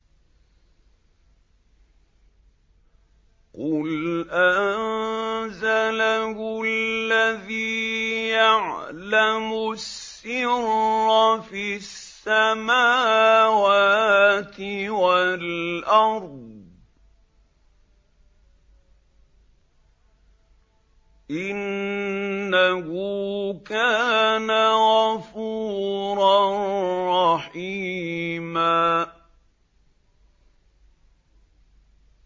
قُلْ أَنزَلَهُ الَّذِي يَعْلَمُ السِّرَّ فِي السَّمَاوَاتِ وَالْأَرْضِ ۚ إِنَّهُ كَانَ غَفُورًا رَّحِيمًا